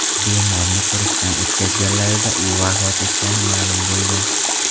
bemorni ko‘rikdan o‘tkazganlarida u vafot etgani ma’lum bo‘lgan.